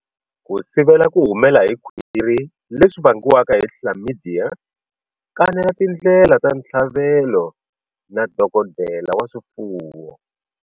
Ku sivela ku humela hi khwiri leswi vangiwaka hi Chlamydia, kanela tindlela ta ntshavelo na dokodela wa swifuwo.